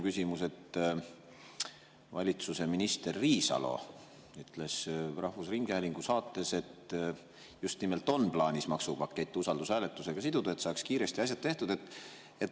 Valitsuse minister Riisalo ütles rahvusringhäälingu saates, et just nimelt on plaanis maksupakett usaldushääletusega siduda, et saaks kiiresti asjad tehtud.